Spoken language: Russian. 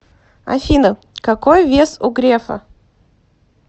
афина какой вес у грефа